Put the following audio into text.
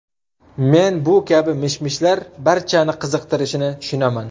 Men bu kabi mish-mishlar barchani qiziqtirishini tushunaman.